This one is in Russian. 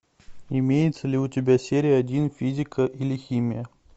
имеется ли у тебя серия один физика или химия